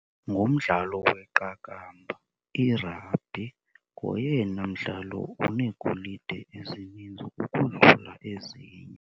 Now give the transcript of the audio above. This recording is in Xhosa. Ngumdlalo weqakamba, irabhi. Ngoyena mdlalo uneegolide ezininzi ukudlula ezinye.